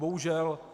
Bohužel.